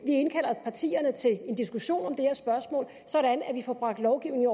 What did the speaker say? indkalder partierne til en diskussion af det her spørgsmål sådan at vi får bragt lovgivningen